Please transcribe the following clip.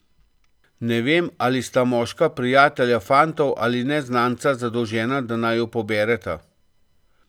Ne vem, ali sta moška prijatelja fantov ali neznanca, zadolžena, da naju pobereta.